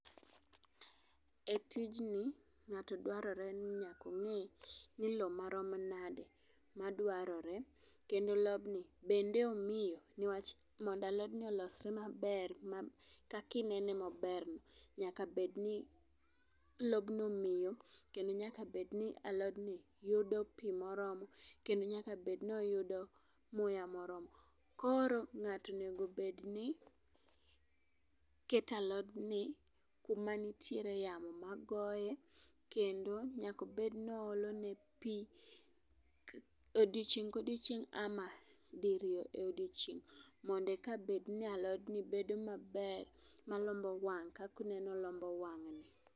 E tijni ng'ato dwarore ni nyako ng'e ni lowo marom nade madwarore kendo lobni kendo omit newach mondo alodni olosre maber kaki nene maber ni ,nyaka bedni lobno miyo kendo nyaka bedni alodni yudo piii moromo kendo nyaka bedni oyudo muya moromo . Koro ng'ato onego bedni keto alodni kuma nitiere yamo magoye kendo nyako bed ni oole ne pii e odiochieng kodiochieng' ama diriyo e odiochieng mondo eka bed ni alodni bedo maber, malombo wang' kakuneno olombo wang' ni.